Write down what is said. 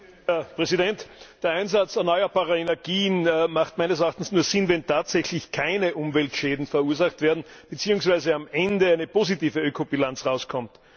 Herr Präsident! Der Einsatz erneuerbarer Energien macht meines Erachtens nur Sinn, wenn tatsächlich keine Umweltschäden verursacht werden beziehungsweise am Ende eine positive Ökobilanz herauskommt.